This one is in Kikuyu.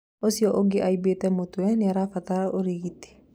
Ũcio ũngĩ aimbĩtĩ mũtũe nĩabataraga ũrigiti